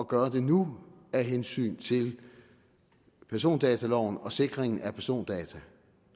gøre nu af hensyn til persondataloven og sikringen af persondata